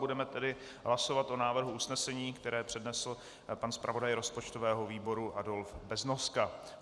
Budeme tedy hlasovat o návrhu usnesení, které přednesl pan zpravodaj rozpočtového výboru Adolf Beznoska.